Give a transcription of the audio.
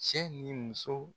Cɛ ni muso.